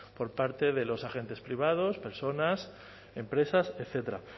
por parte de los agentes privados personas empresas etcétera